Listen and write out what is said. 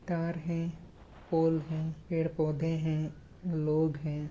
तार है पोल है पेड़-पौधे है लोग है।